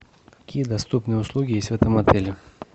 какие доступные услуги есть в этом отеле